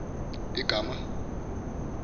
igama